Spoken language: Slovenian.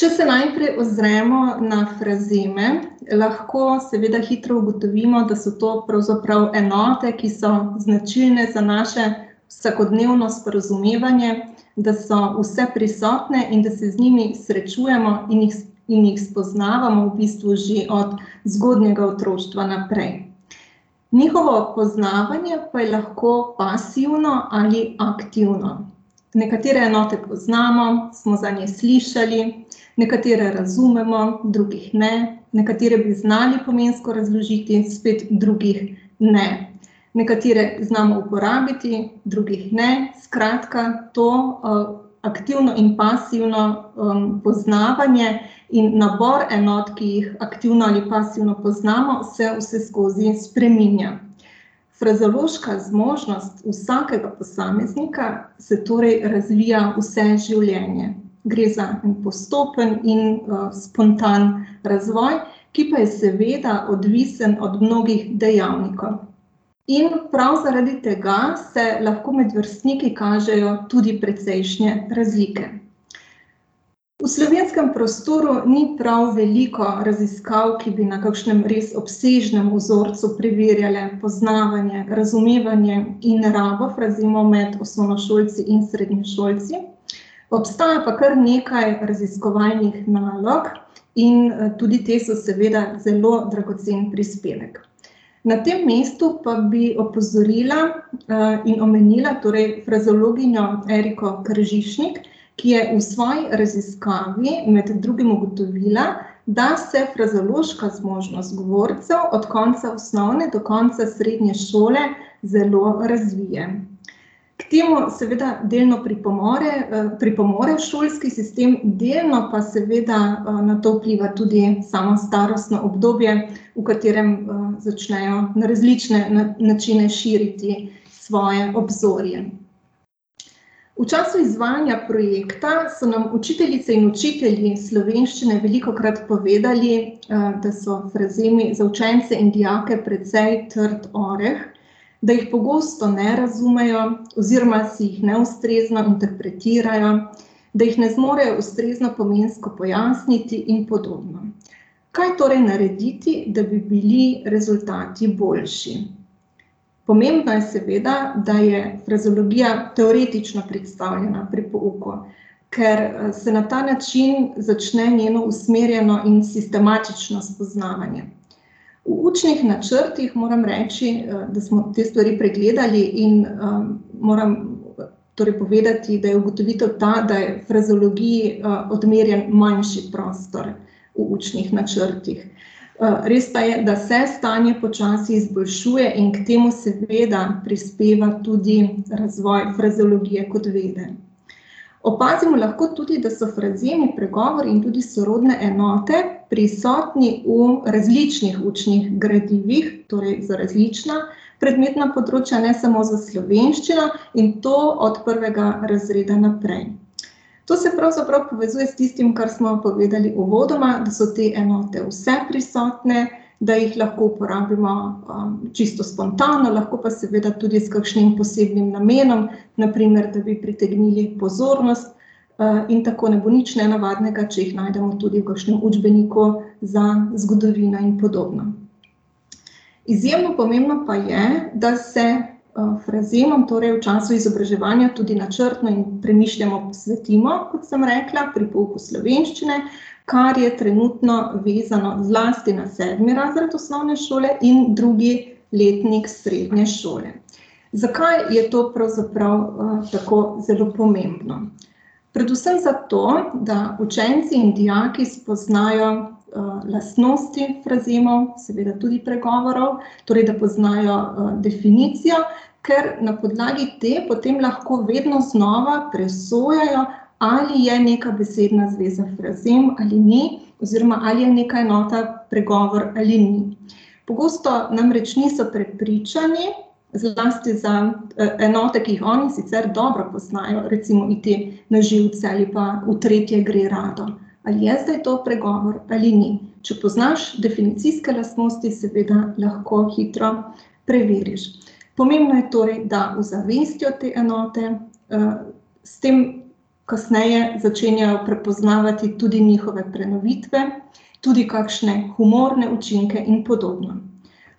Če se najprej ozremo na frazeme, lahko seveda hitro ugotovimo, da so to pravzaprav enote, ki so značilne za naše vsakodnevno sporazumevanje, da so vseprisotne in da se z njimi srečujemo in jih in jih spoznavamo v bistvu že od zgodnjega otroštva naprej. Njihovo poznavanje pa je lahko pasivno ali aktivno. Nekatere enote poznamo, smo zanje slišali, nekatere razumemo, drugih ne, nekatere bi znali pomensko razložiti, spet drugih ne. Nekatere znamo uporabiti, drugih ne, skratka, to, aktivno in pasivno, poznavanje in nabor enot, ki jih aktivno ali pasivno poznamo, se vseskozi spreminja. Frazeološka zmožnost vsakega posameznika se torej razvija vse življenje. Gre za en postopen in, spontan razvoj, ki pa je seveda odvisno od mnogih dejavnikov. In prav zaradi tega se lahko med vrstniki kažejo tudi precejšnje razlike. V slovenskem prostoru ni prav veliko raziskav, ki bi na kakšnem res obsežnem vzorcu preverjale poznavanje, razumevanje in rabo frazemov med osnovnošolci in srednješolci. Obstaja pa kar nekaj raziskovalnih nalog in tudi te so seveda zelo dragocen prispevek. Na tem mestu pa bi opozorila, in omenila, torej frazeologinjo Eriko Kržišnik, ki je v svoji raziskavi med drugim ugotovila, da se frazeološka zmožnost govorcev od konca osnovne do konca srednje šole zelo razvije. K temu seveda, delno pripomore, pripomore šolski sistem, delno pa seveda, na to vpliva tudi samo starostno obdobje, v katerem, začnejo na različne načine širiti svoje obzorje. V času izvajanja projekta so nam učiteljice in učitelji slovenščine velikokrat povedali, da so frazemi za učence in dijake precej trd oreh, da jih pogosto ne razumejo oziroma si jih neustrezno interpretirajo, da jih ne zmorejo ustrezno pomensko pojasniti in podobno. Kaj torej narediti, da bi bili rezultati boljši? Pomembno je seveda, da je frazeologija teoretično predstavljena pri pouku, ker se na ta način začne njeno usmerjeno in sistematično spoznavanje. V učnih načrtih, moram reči, da smo te stvari pregledali, in, moram torej povedati, da je ugotovitev ta, da je frazeologiji, odmerjen manjši prostor v učnih načrtih. res pa je, da se stanje počasi izboljšuje in k temu seveda prispeva tudi razvoj frazeologije kot vede. Opazimo lahko tudi, da so frazemi, pregovori in tudi sorodne enote prisotni v različnih učnih gradivih, torej za različna predmetna področja, ne samo za slovenščino, in to od prvega razreda naprej. To se pravzaprav povezuje s tistim, kar smo povedali uvodoma, da so te enote vseprisotne, da jih lahko uporabimo, čisto spontano, lahko pa seveda tudi s kakšnim posebnim namenom, na primer, da bi pritegnili pozornost, in tako ne bo nič nenavadnega, če jih najdemo tudi v kakšnem učbeniku za zgodovino in podobno. Izjemno pomembno pa je, da se, frazemom, torej v času izobraževanja, tudi načrtno in premišljeno posvetimo, kot sem rekla, pri pouku slovenščine, kar je trenutno vezano zlasti na sedmi razred osnovne šole in drugi letnik srednje šole. Zakaj je to pravzaprav, tako zelo pomembno? Predvsem zato, da učenci in dijaki spoznajo, lastnosti frazemov, seveda tudi pregovorov, torej da poznajo, definicijo. Ker na podlagi te potem lahko vedno znova presojajo, ali je neka besedna zveza frazem ali ni oziroma ali je neka enota pregovor ali ni. Pogosto namreč niso prepričani, zlasti za enote, ki jih oni sicer dobro poznajo, recimo "iti na živce" ali pa "v tretje gre rado". Ali je zdaj to pregovor ali ni? Če poznaš definicijske lastnosti, seveda lahko hitro preveriš. Pomembno je torej, da uzavestijo te enote, s tem kasneje začenjajo spoznavati tudi njihove prenovitve, tudi kakšne humorne učinke in podobno.